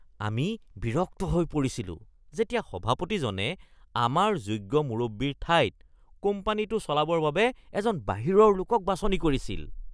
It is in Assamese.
আমি বিৰক্ত হৈ পৰিছিলো যেতিয়া সভাপতিজনে আমাৰ যোগ্য মুৰব্বীৰ ঠাইত কোম্পানীটো চলাবৰ বাবে এজন বাহিৰৰ লোকক বাছনি কৰিছিল।